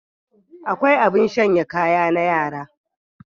Akwai abin shanya kaya na yara.